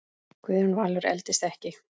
Guðjón Valur eldist ekki.